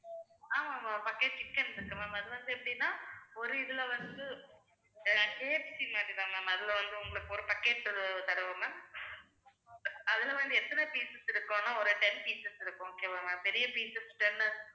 ஆமா ma'am bucket chicken இருக்கு ma'am அது வந்து எப்படின்னா ஒரு இதுல வந்து KFC மாதிரிதான் ma'am அதுல வந்து உங்களுக்கு ஒரு bucket தருவோம் ma'am அதுல வந்து எத்தனை pieces இருக்குன்னா ஒரு ten pieces இருக்கும் okay வா ma'am பெரிய piece ten இருக்கும்